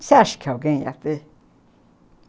Você acha que alguém ia ter?